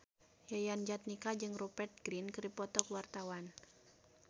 Yayan Jatnika jeung Rupert Grin keur dipoto ku wartawan